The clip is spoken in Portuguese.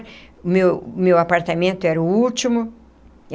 O meu o meu apartamento era o último.